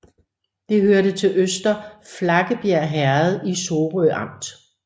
Det hørte til Øster Flakkebjerg Herred i Sorø Amt